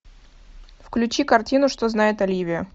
включи картину что знает оливия